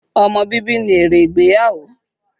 Ọmọ bíbí ni èrè ìgbéyàwó